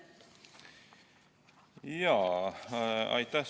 Aitäh!